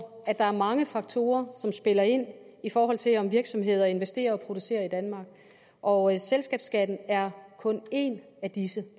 at der er mange faktorer som spiller ind i forhold til om virksomheder investerer og producerer i danmark og selskabsskatten er kun en af disse